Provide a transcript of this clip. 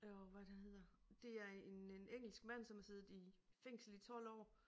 Åh hvad er det han hedder. Det er en øh en engelsk mand som har siddet i fængsel i 12 år